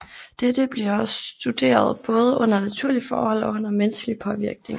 Dette bliver studeret både under naturlige forhold og under menneskelig påvirkning